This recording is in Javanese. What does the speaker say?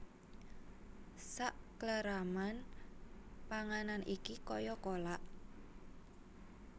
Sakleraman panganan iki kaya kolak